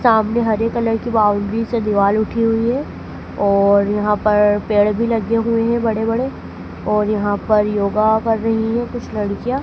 सामने हरे कलर की बाउंड्री से दीवाल उठी हुई है और यहां पर पेड़ भी लगे हुए हैं बड़े-बड़े और यहां पर योगा कर रही है कुछ लड़कियां --